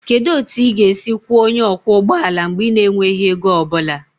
Kedu otu ị ga-esi kwụọ onye ọkwọ ụgbọ ala mgbe ị na-enweghị ego ọ bụla?